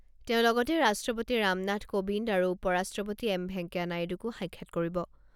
তেওঁ লগতে ৰাষ্ট্ৰপতি ৰামনাথ কোৱিন্দ আৰু উপ ৰাষ্ট্ৰপতি এম ভেংকায়া নাইডুকো সাক্ষাৎ কৰিব।